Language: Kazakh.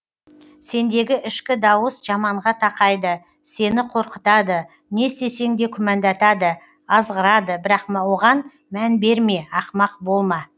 сендегі ішкі дауыс жаманға тақайды сені қорқытады не істесең де күмәндатады азғырады бірақ оған мән берме ақымақ болма